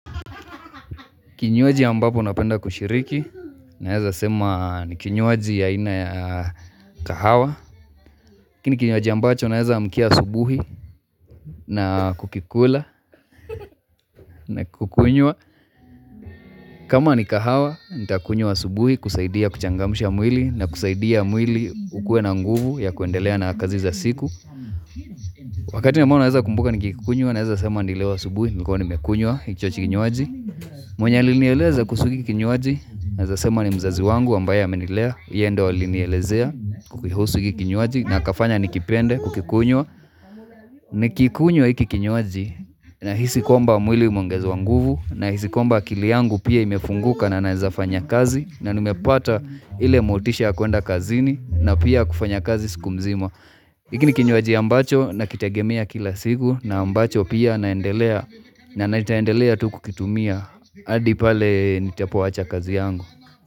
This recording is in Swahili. Kinywaji ambapo napenda kushiriki, naeza sema ni kinywaji ya aina ya kahawa. Hiki ni kinywaji ambacho, naeza amkia asubuhi na kukikula na kukunywa. Kama ni kahawa, nitakunywa asubuhi kusaidia kuchangamsha mwili na kusaidia mwili ukue na nguvu ya kuendelea na kazi za siku. Wakati ambao naeza kumbuka nikiikunywa, naeza sema ni leo asubuhi, nimekuwa nimekunywa, hicho kinywaji. Mwenye alinieleza kuhusu hiki kinywaji naeza sema ni mzazi wangu ambaye amenilea. Yeye ndio alinielezea kuihusu hiki kinywaji na akafanya nikipende kukikunywa Nikiikunywa hiki kinywaji nahisi kwamba mwili umeongezewa nguvu nahisi kwamba akili yangu pia imefunguka na naeza fanya kazi na nimepata ile motisha ya kuenda kazini na pia kufanya kazi siku mzima hiki ni kinywaji ambacho nakitegemea kila siku na ambacho pia naendelea na nitaendelea tu kukitumia, hadi pale nitapoacha kazi yangu.